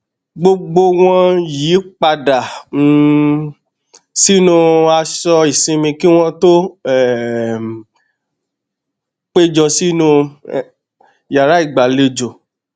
gbogbo wọn yí padà um sínú aṣọ ìsinmi kí wọn tó um péjọ sínú yàrá ìgbàlejò